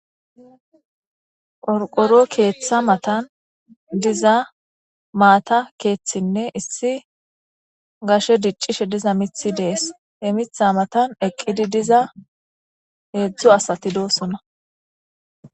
Orqoro keeththa matan diza maata keeththinne issi gashe diccishe diza mithi dees e mitha matan eqqidi diza heedzdzo asatidosuna.